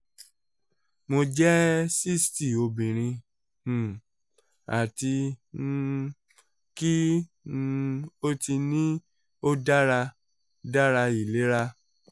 mo jẹ sixty obinrin um ati um ki um o ti ni o dara dara ilera